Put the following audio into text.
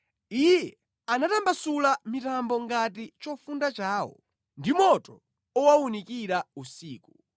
Iye anatambasula mitambo ngati chofunda chawo, ndi moto owawunikira usiku.